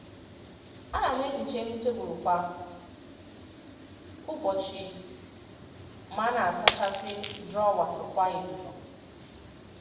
A na m ehicha elu tebụl kwa ụbọchị ma na-asachasị drọwas kwa izu.